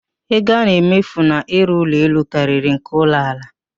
Ego a na-emefu n'ịrụ ụlọ elu karịrị nke ụlọ ala